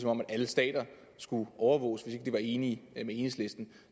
om alle stater skulle overvåges hvis ikke de var enige med enhedslisten